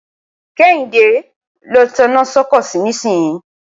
kẹ́yìndé ló taná sọ́kọ̀ nísìn